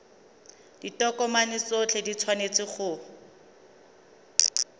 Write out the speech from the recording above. ditokomane tsotlhe di tshwanetse go